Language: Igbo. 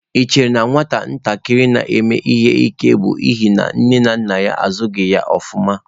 Ị chere na nwatakịrị na-eme ihe ike bụ n'ihi nne na nna ya azụghị ya ofuma?